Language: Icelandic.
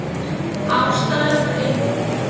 Ástæðan var einföld.